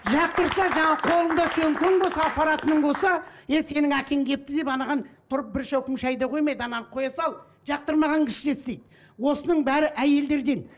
жақтырса жаңағы қолыңда сөмкең болса апаратының болса ей сенің әкең келіпті деп анаған тұрып бір шөкім шай да қоймайды ананы қоя сал жақтырмаған кісіше істейді осының бәрі әйелдерден